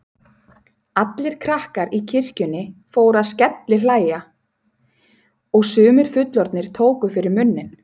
Allir krakkar í kirkjunni fóru að skellihlæja og sumir fullorðnir tóku fyrir munninn.